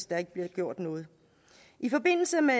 der bliver gjort noget i forbindelse med